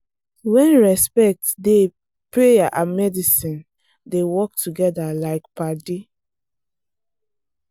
when respect dey prayer and medicine dey work together like padi.